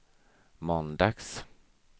måndags